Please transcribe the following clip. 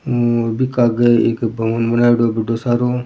और बीके आगे एक भवन बनायोडो है बढ़ो सारो।